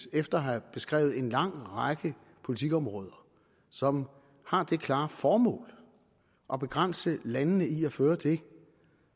efter at have beskrevet en lang række politikområder som har det klare formål at begrænse landene i at føre det